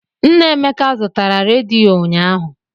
Nna Emeka zụtara rediyo ụnyaahụ.